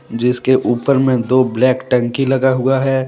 जिसके ऊपर में दो ब्लैक टंकी लगा हुआ है।